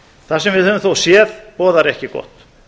það sem við höfum þó séð boðar ekki gott